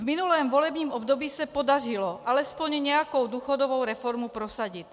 V minulém volebním období se podařilo alespoň nějakou důchodovou reformu prosadit.